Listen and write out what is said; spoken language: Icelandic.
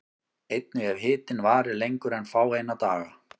Einnig ef hitinn varir lengur en fáeina daga.